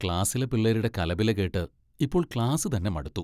ക്ലാസിലെ പിള്ളേരുടെ കലപില കേട്ട് ഇപ്പോൾ ക്ലാസ് തന്നെ മടുത്തു.